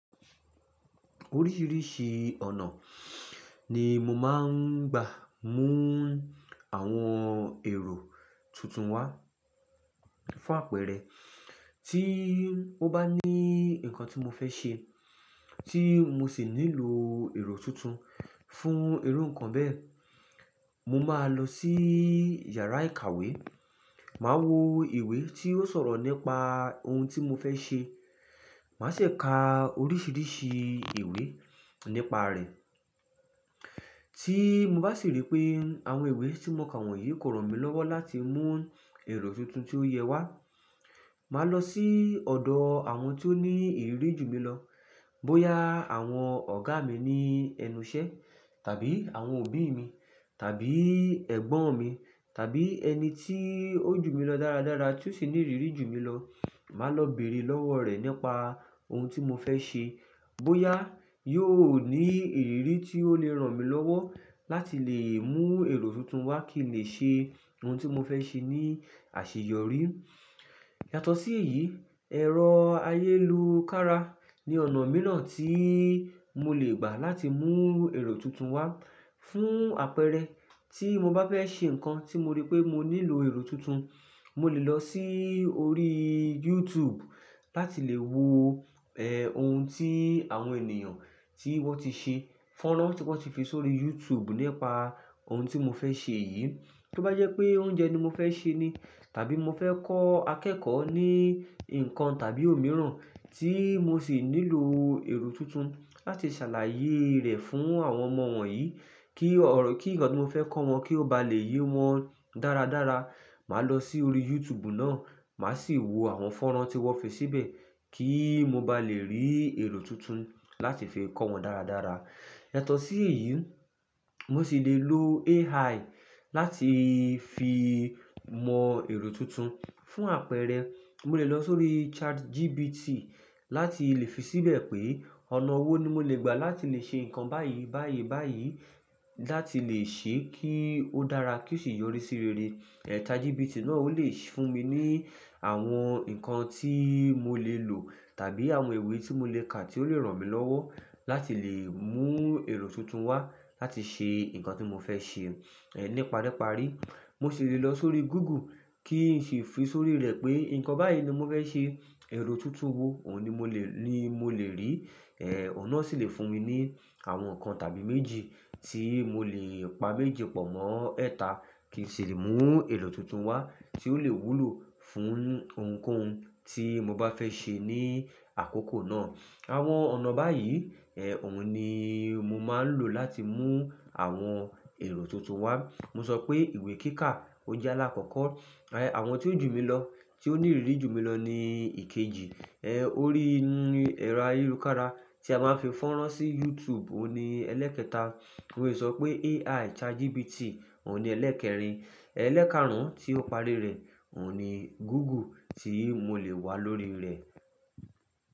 Oríṣìíríṣìí ọ̀nà ni mo máa ń gbà mú àwọn ẹ̀rọ tuntun wá. Fún àpẹẹrẹ, tí mo bá ní nǹkan tí mo fẹ́ ṣe tí mo sì nílò ẹ̀rọ tuntun fún irú nǹkan bẹ́ẹ̀, mo máa lọ sí yàrá ìkàwé, màá wo ìwé tí ó sọ̀rọ̀ nípa ohun tí mo fẹ́ ṣe. Màá sì ka oríṣìíríṣìí ìwé nípa rẹ̀. Tí mo bá sì rí pé àwọn ìwé tí mo kà wọ̀nyí kò ràn mí lọ́wọ́ láti mú èrò tuntun tí ó yẹ wá, màá lọ sí ọ̀dọ̀ àwọn tó ní ìrírí ju mi lọ. Bóyá àwọn ọ̀gá mi ní ẹnu iṣẹ́ tàbí àwọn òbí mi tàbí ẹ̀gbọ́n mi tàbí ẹni tí ó jù mí lọ dáradára tí ó sì ní ìrírí ju mi lọ, màá lọ bèrè lọ́wọ́ rẹ̀ nípa ohun tí mo fẹ́ ṣe. Bóyá yóò ní ìrírí tí ó lè ràn mí lọ́wọ́ láti lè mú ero tuntun wá kí n lè ṣe ohun tí mo fẹ́ ṣe ní àṣeyọrí. Yàtọ̀ sí èyí, ẹ̀rọ ayélukára ni ọ̀nà mìíràn tí mo lè gbà láti mú ero tuntun wá. Fún àpẹẹrẹ, tí mo bá fẹ́ ṣe nǹkan tí mo rí pé mo nílò ero tuntun, mo lè lọ sí orí YouTube láti lè wo, ẹ́, ohun tí àwọn ènìyàn tí wọ́n ti ṣe, fọ́nrán tí wọ́n ti fi sórí YouTube nípa ohun tí mo fẹ́ ṣe yìí. Bí ó bá jẹ́ pé oúnjẹ ni mo fẹ́ ṣe ni tàbí mo fẹ́ kọ́ akẹ́kọ̀ọ́ ní nǹkan tàbí òmíràn tí mo sì nílò ero tuntun láti ṣàlàyé rẹ̀ fún àwọn ọmọ wọ̀nyí kí ọ̀rọ̀, kí nǹkan tí mo fẹ́ kọ́ wọn kí ó bá lè yé wọn dáradára, màá lọ sí orí YouTube náà, màá sì wo àwọn fọ́nrán tí wọ́n fi síbẹ̀ kí mo bá lè rí ero tuntun láti fi kọ́ wọn dáradára. Yàtọ̀ sí èyí, mo sì lè lo AI láti fi mọ ero tuntun. Fún àpẹẹrẹ, mo lè lọ sórí ChatGPT láti lè fi síbẹ̀ pé ọ̀nà wo ni mo lè gbà láti lè ṣe nǹkan báyìí, báyìí, báyìí láti lè ṣe kí ó dára kí ó sì yọrí sí rere. Ẹ̀, ChatGPT náà ó lè fún mi ní àwọn nǹkan tí mo lè lò tàbí àwọn ìwé tí mo lè kà tí ó lè ràn mí lọ́wọ́ láti lè mú ero tuntun wá láti ṣe nǹkan tí mo fẹ́ ṣe. Ẹ̀, nípa ri parí, mo sì lè lọ sórí Google kí n ṣifi sórí rẹ̀ pé nǹkan báyìí ni mo fẹ́ ṣe, ero tuntun wo òun ni mo lè, ni mo lè rí. Ẹ̀, òun náà sì lè fún mi ní àwọn nǹkan tàbí méjì tí mo lè pa méjì pọ̀ mọ́ ẹ́ta kí n sì lè mú ero tuntun wá tí ó lè wúlò fún ohunkóhun tí mo bá fẹ́ ṣe ní àkókò náà. Àwọn ọ̀nà báyìí, ẹ́, òun ni mo máa ń lò láti mú àwọn ẹ̀rọ tuntun wá. Mo sọ pé ìwé kíká ó jẹ́ alákọ̀ọ́kọ́. Ẹ̀, àwọn tí ó jù mí lọ tí ó ní ìrírí ju mi lọ ni ìkejì. Ẹ̀, orí ẹ̀rọ ayélujára tí a máa ń fi fọ́nrán sí YouTube òun ni ẹlẹ́ẹ̀kẹta. Mo lè sọ pé AI ChatGPT òun ni ẹlẹ́ẹ̀kẹrin. Ẹ̀, ẹlẹ́ẹ̀kàrún tí ó parí rẹ̀ òun ni Google tí mo lè wá lórí rẹ̀.